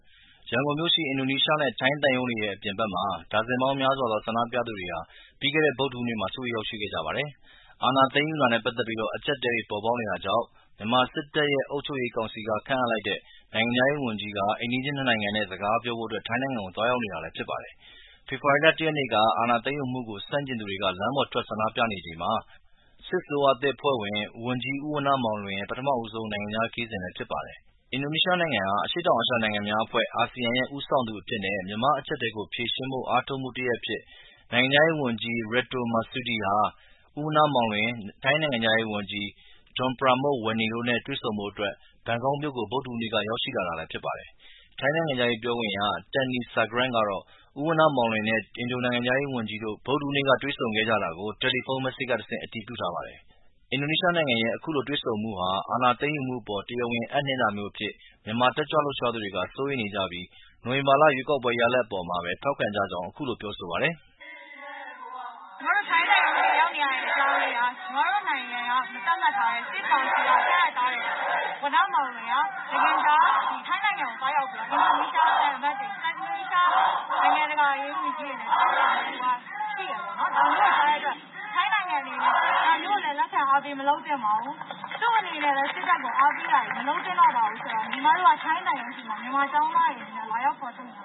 ရန်ကုန်မြို့ရှိ အင်ဒိုနီးရှားနဲ့ထိုင်း သံရုံးတွေရဲ့ အပြင်ဘက်မှာ ဒါဇင်ပေါင်းများစွာသော ဆန္ဒပြသူတွေဟာ ပြီးခဲ့တဲ့ ဗုဒ္ဓဟူးနေ့က စုဝေးရောက်ရှိခဲ့ကြပါတယ်။ အာဏာသိမ်းယူတာနဲ့ပက်သက်ပြီး အကျပ်အတည်းတွေဖြစ်ပေါ်နေတာကြောင့် မြန်မာစစ်တပ်ရဲ့ အုပ်ချုပ်ရေးကောင်စီက ခန့်အပ်လိုက်တဲ့ နိုင်ငံခြားရေးဝန်ကြီးက အိမ်နီးချင်းနှစ်နိုင်ငံစကားပြောဖို့ထိုင်းနိုင်ငံကို သွားရောက်နေတာဖြစ်ပါတယ်။ ဖေဖေါ်ဝါရီ ၁ ရက်နေ့ အာဏာသိမ်းယူမှု ကို ဆန့်ကျင်သူတွေလမ်းပေါ်ထွက် ဆန္ဒပြနေချိန်မှာ စစ်အစိုးရသစ်အဖွဲ့ဝင် ဝန်ကြီး ဦးဝဏ္ဏမောင်လွင်ရဲ့ ပထမဦးဆုံး နိုင်ငံခြားခရီးစဉ်လည်းဖြစ်ပါတယ်။ အင်ဒိုနီးရှားနိုင်ငံဟာ အရှေ့တောင်အာရှနိုင်ငံများအဖွဲ့ ရဲ့ ဦးဆောင်သူအဖြစ်နဲ့မြန်မာအကျပ်အတည်းကို ဖြေရှင်းဖို့အားထုတ်မှုတရပ်အဖြစ် နိုင်ငံခြားရေးဝန်ကြီး Retno Marsudi ဟာ ဦးဝဏ္ဏမောင်လွင်၊ ထိုင်းနိုင်ငံခြားရေးဝန်ကြီး Don Pramudwinai တွေ့ဆုံဖို့ ဘန်ကောက်မြို့ကို ပြီးခဲ့တဲ့ ဗုဒ္ဓဟူးနေ့က ရောက်ရှိလာတာလည်းဖြစ်ပါတယ်။ ထိုင်းနိုင်ငံခြားရေးပြောခွင့်ရ Tanee Sangrat ကတော့ ဦးဝဏ္ဏမောင်လွင်နဲ့အင်ဒိုနိုင်ငံခြားရေးဝန်ကြီးတို့တွေ့ဗုဒ္ဓဟူးနေ့ကတွေ့ဆုံခဲ့ကြတာကို တယ်လီဖုန်း message ကတဆင့် အတည်ပြုထားပါတယ်။ အင်ဒိုနီးရှားနိုင်ငံရဲ့ အခုလိုတွေ့ဆုံမှုဟာ အာဏာသိမ်းယူမှုအပေါ် တရားဝင်မှုအပ်နှင်းတာမျိူးအဖြစ် မြန်မာတက်ကြွလှုပ်ရှားသူတွေက စိုးရိမ်နေကြပြီး နိုဝင်ဘာရွေးကောက်ပွဲရလာဒ်အပေါ်မှာပဲထောက်ခံကြကြောင်းအခုလို ပြောဆိုပါတယ်။ “ညီမတို့ထိုင်းသံရုံးရှေ့မှာ ရောက်နေရတဲ့ အကြောင်းရင်းက ညီမတို့နိုင်ငံက မသတ်မှတ်ထားတဲ့၊ စစ်ကောင်စီက ခန့်အပ်ထားတဲ့ ဝဏ္ဏမောင်လွင်က နိုင်ငံခြား ဒီထိုင်းနိုင်ငံကိုသွားရောက်ပြီးတော့ အင်ဒိုနီးရှား နိုင်ငံခြးာရေးဝန်ကြီးတွေနဲ့တွေ့ဖို့ရှိတယ်ပေါ့နော်။ ထိုင်းနိုင်ငံအနေနဲ့ဒါမျိူးကိုလည်း လက်ခံအားပေး မလုပ်သင့်ပါဘူး။ သူ့အနေနဲ့လည်း စစ်တပ်ကို အားပေးနေတာတွေမလုပ်သင့်တော့ပါဘူးဆိုတာကို ညီမတို့က ထိုင်းသံရုံးရှေ့မှာ မြန်မာကျောင်းသားတွေအနေနဲ့လာရောက်ဖေါ်ထုတ်နေတာ